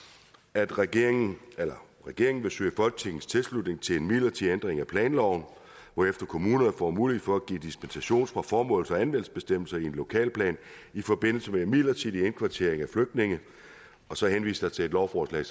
at regeringen regeringen vil søge folketingets tilslutning til en midlertidig ændring af planloven hvorefter kommunerne får mulighed for at give dispensation fra formåls og anvendelsesbestemmelserne i en lokalplan i forbindelse med en midlertidig indkvartering af flygtninge og så henvises der til et lovforslag